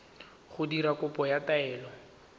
go dira kopo ya taelo